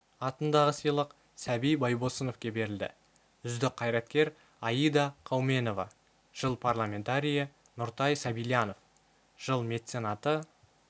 атындағы сыйлық сәби байбосыновке берілді үздік қайраткер аида қауменова жыл парламентарийі нұртай сабильянов жыл меценаты